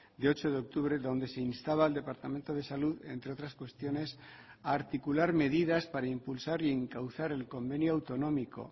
de ocho de octubre donde se instaba al departamento de salud entre otras cuestiones a articular medidas para impulsar y encauzar el convenio autonómico